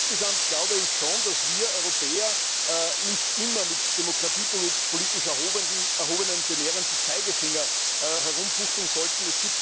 Insgesamt glaube ich schon, dass wir Europäer nicht immer mit demokratiepolitisch erhobenem belehrenden Zeigefinger herumfuchteln sollten.